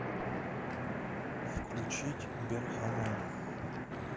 включить берхана